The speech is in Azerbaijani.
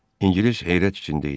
İngilis heyrət içində idi.